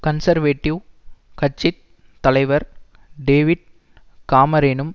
conservative கட்சி தலைவர் David காமரேனும்